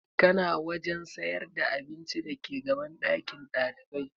Kana wajen sayar da abinci dake gaban ɗakin ɗalibai?